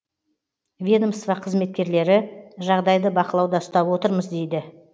ведомство қызметкерлері жағдайды бақылауда ұстап отырмыз дейді